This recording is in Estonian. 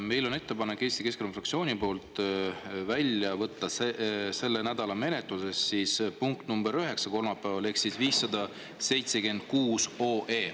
Meil on Eesti Keskerakonna fraktsiooni poolt ettepanek võtta selle nädala menetlusest välja punkt nr 9 kolmapäeval ehk siis 576 OE.